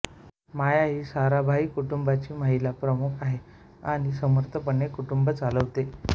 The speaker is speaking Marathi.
माया ही साराभाई कुटुंबाची महिला प्रमुख आहे आणि समर्थकपणे कुटुंब चालवते